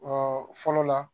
fɔlɔ la